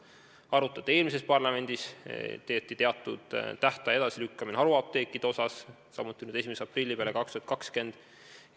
Arutleti ka eelmises parlamendis, kui haruapteekidele kehtestatud tähtaeg lükati edasi 1. aprillile 2020.